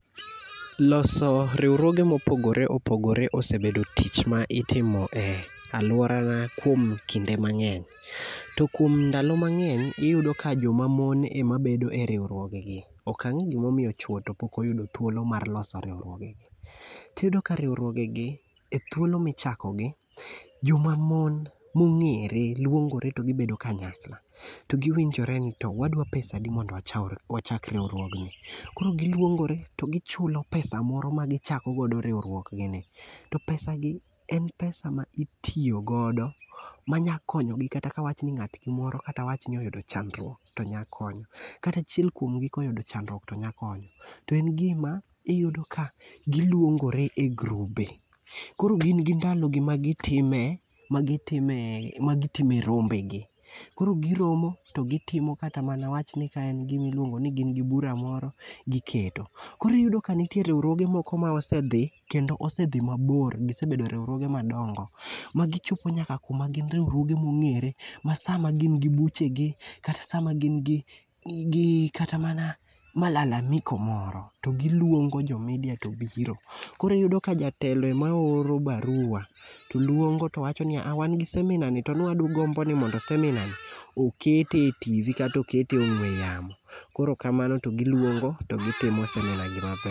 Loso riwruoge mopogore opogore osebedo tich ma itimo e alworana kuom kinde mang'eny. To kuom ndalo mang'eny, iyudo ka joma mon ema bedo e riwruogegi. Ok ang'e gimomiyo chuwo to pok oyudo thuolo mar loso riwruogegi. Tiyudo ka riwruogegi,e thuolo michakogi, jomamon mong'ere lwongore to gibedo kanyakla, ro giwinjore ni to wadwa pesadi mondo wachak riwruogni. Koro gilwongore to gichulo pesa moro magichako godo riwruok gini. To pesagi, en pesa ma itiyo godo manya konyogi kata ka wawach ni ng'atni moro kata watni oyudo chandruok to nya konye. Kata achiel kuom gi koyudo chandruok to nya konyo. To en gima ,iyudo ka giluongore e grube . Koro gin gi ndalogi magitime rombegi. Koro giromo to gitimo kata mana wawachni ka en gimiluongo ni gin gi bura moro, giketo. Koro iyudo ka nitiere moko ma osedhi kendo osedhi mabor. Gisebedo e riwruoge madongo magichopo nyaka kuma gin riwruoge mong'ere, ma sama gin gi buchegi kata sama gin gi kata mana malalamiko moro to giluongo jo media to biro. Koro iyudo ka jatelo ema oro barua, to lwongo towacho niya ''wan gi seminar ni to nwa gombo ni seminar ni okete e TV kata okete e ong'we yamo. Koro kamano to gilouongo to gitimo seminar ni maber.